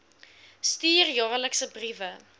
stuur jaarliks briewe